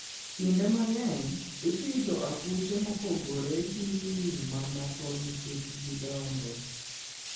Kinde mang'eny, ipidho akuche mopogore gi winy mamoko nikech gidongo.